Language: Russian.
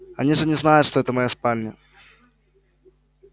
они же не знают что это моя спальня